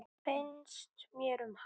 Finnst mér um hana?